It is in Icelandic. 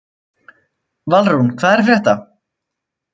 Valrún, hvað er að frétta?